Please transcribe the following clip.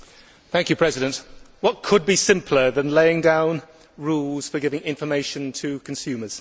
Mr President, what could be simpler than laying down rules for giving information to consumers?